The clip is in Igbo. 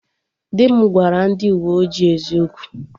Di m gwara ndị uwe ojii eziokwu